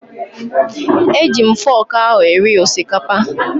E ji m foku ahụ eri osikapa